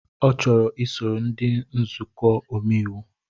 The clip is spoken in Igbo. Ọ chọrọ iso ndị nzukọ omeiwu